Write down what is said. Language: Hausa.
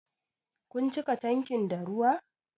Kun cika tankin da ruwa?